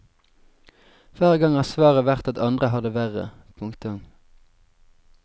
Hver gang har svaret vært at andre har det verre. punktum